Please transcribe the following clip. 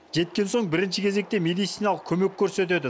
жеткен соң бірінші кезекте медициналық көмек көрсетеді